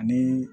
Ni